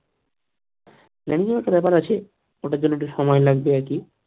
planing এর ব্যাপার আছে ওটার জন্য একটু সময় লাগবে